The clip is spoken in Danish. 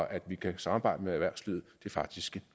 at vi kan samarbejde med erhvervslivet faktisk en